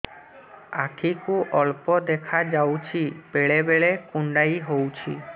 ଆଖି କୁ ଅଳ୍ପ ଦେଖା ଯାଉଛି ବେଳେ ବେଳେ କୁଣ୍ଡାଇ ହଉଛି